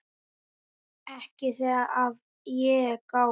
Ekki þegar að er gáð.